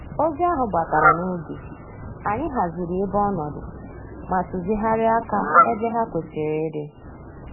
Ozi ahụ batara n'oge, anyị haziri ebe ọnọdụ ma tuzigharịa aka ebe ha kwesịrị ịdị